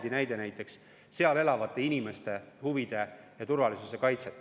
Siin toodi ju näiteks see Lagedi juhtum.